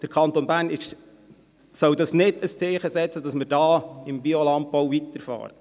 Der Kanton Bern soll nicht ein Zeichen setzen, dass wir da im Biolandbau weiterfahren.